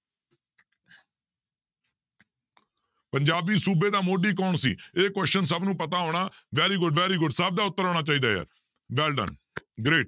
ਪੰਜਾਬੀ ਸੂਬੇ ਦਾ ਮੋਢੀ ਕੌਣ ਸੀ ਇਹ question ਸਭ ਨੂੰ ਪਤਾ ਹੋਣਾ very good, very good ਸਭ ਦਾ ਉੱਤਰ ਆਉਣਾ ਚਾਹੀਦਾ ਹੈ well done great